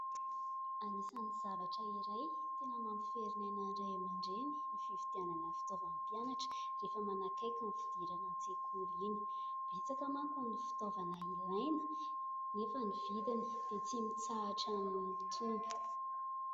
Anisan'ny zavatra iray tena mampiferinaina ny ray aman-dreny ny fifidianana ny fitaovan'ny mpianatra rehefa manakaiky ny fidirana an-tsekoly iny. Betsaka manko ny fitaovana ilaina anefa ny vidiny dia tsy mitsahatra ny mitombo.